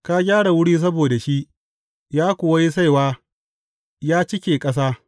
Ka gyara wuri saboda shi, ya kuwa yi saiwa ya cike ƙasa.